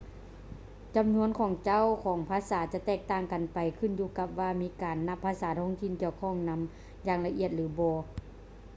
ຈຳນວນຂອງເຈົ້າຂອງພາສາຈະແຕກຕ່າງກັນໄປຂຶ້ນຢູ່ກັບວ່າມີການນັບພາສາທ້ອງຖິ່ນກ່ຽວຂ້ອງນຳຢ່າງລະອຽດ ຫຼື ບໍ່